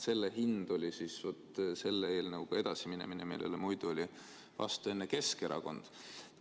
Selle hind oli edasiminemine selle eelnõuga, millele enne oli Keskerakond vastu.